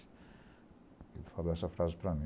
Ele falou essa frase para mim.